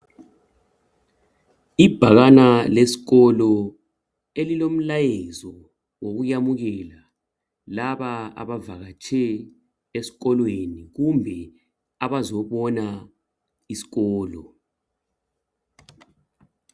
Ibhakana lesikolo elilomlayezo wokuyamukela laba abavakatshe esikolweni kumbe abazobona isikolo.